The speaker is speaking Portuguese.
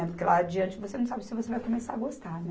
Porque lá adiante você não sabe se você vai começar a gostar, né?